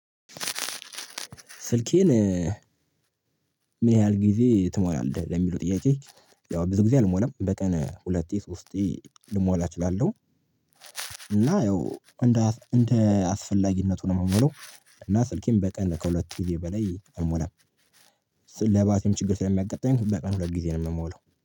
ስልኬን ምን ያህል ጊዜ ትሞላለህ ለሚሉው ጥያቄ? ያው ብዙ ጊዜ አልሞላም በቀን ሁለቴ ሶስቴ ልሞላ እችላለሁ። እና ያው እንደ እንደ አስፈላጊነቱ ነው የምሞላው እና ስልኬን በቀን ከሁለት ጊዜ በላይ አልሞላም። ለባትሪም ችግር ስለሚያጋጥኝ በቀን ሁለት ጊዜ ነው የምሞላው